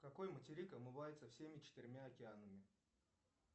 какой материк омывается всеми четырьмя океанами